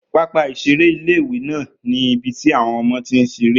Pápá ìseré ilé-ìwé náà ní ibi tí àwọn ọmọ ti ń seré